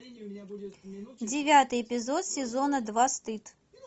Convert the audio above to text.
девятый эпизод сезона два стыд